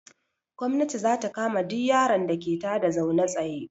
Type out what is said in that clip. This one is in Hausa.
Gomnati za ta kama duk yaron da ke ta da zaune tsaye.